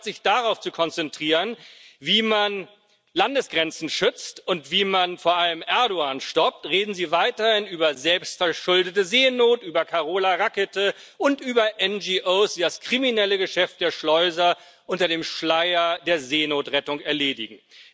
Aber statt sich darauf zu konzentrieren, wie man Landesgrenzen schützt und wie man vor allem Erdoğan stoppt, reden Sie weiterhin über selbstverschuldete Seenot, über Carola Rackete und über NRO, die das kriminelle Geschäft der Schleuser unter dem Schleier der Seenotrettung erledigen.